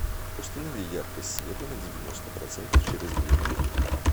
установи яркость света на девяносто процентов через две минуты